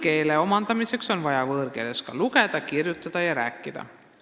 Võõrkeele omandamiseks on vaja võõrkeeles lugeda, kirjutada ja rääkida.